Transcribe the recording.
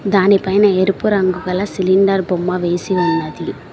దానిపైన ఎరుపు రంగు గల సిలిండర్ బొమ్మ వేసి ఉన్నది.